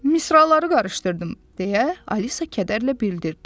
Misraları qarışdırdım, - deyə Alisa kədərlə bildirdi.